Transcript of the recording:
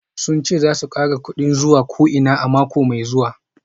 Sun ce za su kara kudin zuwa ko'ina a mako mai zuwa